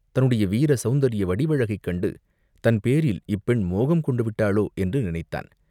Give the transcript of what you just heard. தன்னுடைய வீர சௌந்தரிய வடிவழகைக் கண்டு தன் பேரில் இப்பெண் மோகங்கொண்டு விட்டாளோ என்று நினைத்தான்.